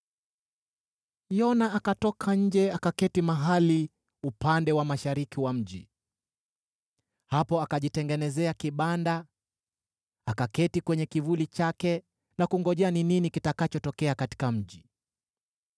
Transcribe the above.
Yona akatoka nje akaketi mahali upande wa mashariki wa mji. Hapo akajitengenezea kibanda, akaketi kwenye kivuli chake na kungojea ni nini kitakachotokea katika mji.